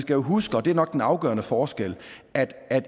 jo huske og det er nok den afgørende forskel at